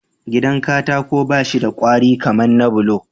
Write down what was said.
Gidan katako bashi da kwari kaman na bulo